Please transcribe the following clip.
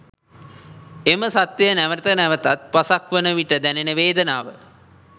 එම සත්‍යය නැවත නැවතත් පසක් වන විට දැනෙන වේදනාව